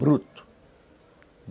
Bruto.